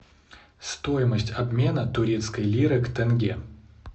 стоимость обмена турецкой лиры к тенге